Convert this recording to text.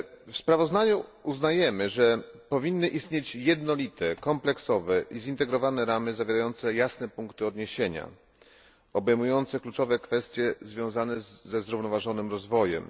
W sprawozdaniu uznajemy, że powinny istnieć jednolite, kompleksowe i zintegrowane ramy zawierające jasne punkty odniesienia, obejmujące kluczowe kwestie związane ze zrównoważonym rozwojem.